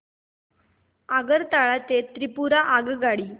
आगरतळा ते त्रिपुरा आगगाडी